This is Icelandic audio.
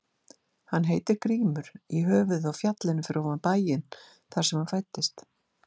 Hann heitir Grímur í höfuðið á fjallinu fyrir ofan bæinn þar sem hann fæddist.